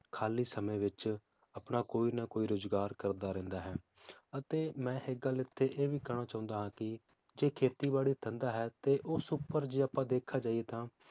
ਖਾਲੀ ਸਮੇ ਵਿਚ ਆਪਣਾ ਕੋਈ ਨਾ ਕੋਈ ਰੋਜਗਾਰ ਕਰਦਾ ਰਹਿੰਦਾ ਹੈ ਅਤੇ ਮੈ ਇੱਕ ਗੱਲ ਇੱਥੇ ਇਹ ਵੀ ਕਹਿਣਾ ਚਾਹੁੰਦਾ ਹਾਂ ਕਿ ਜੇ ਖੇਤੀ ਬਾੜੀ ਧੰਦਾ ਹੈ ਤੇ ਉਸ ਉਪਰ ਜੇ ਆਪਾਂ ਦੇਖਿਆ ਜਾਇਏ ਤਾਂ